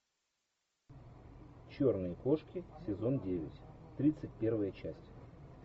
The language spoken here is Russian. черные кошки сезон девять тридцать первая часть